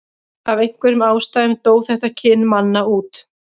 af einhverjum ástæðum dó þetta kyn manna út